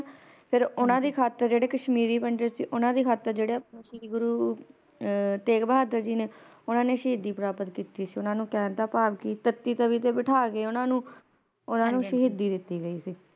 ਫਿਰ ਓਹਨਾ ਦੀ ਖਾਤਿਰ ਜਿਹੜੇ ਕਸ਼ਮੀਰੀ ਪੰਡਿਤ ਸੀ ਓਹਨਾ ਦੀ ਖਾਤਿਰ ਜਿਹੜੇ ਸ਼੍ਰੀ ਗੁਰੂ ਅਹ ਤੇਗ ਬਹਾਦਰ ਜੀ ਨੇ ਓਹਨਾ ਨੇ ਸ਼ਹੀਦੀ ਪ੍ਰਾਪਤ ਕੀਤੀ ਓਹਨਾ ਨੂੰ ਕਹਿਣ ਦਾ ਭਾਵ ਕਿ ਤਤੀ ਤਵੀ ਤੇ ਬੈਠਾ ਕੇ ਓਹਨਾ ਨੂੰ ਓਹਨਾ ਨੂੰ ਸ਼ਹੀਦੀ ਦਿਤੀ ਗਈ ਸੀ